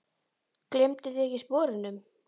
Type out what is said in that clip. Gleymduð þið ekkert sporunum?